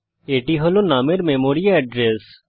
এটি হল নুম এর মেমরি এড্রেস